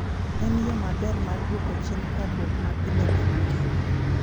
En yo maber mar duoko chien parruok mapile mag ngima.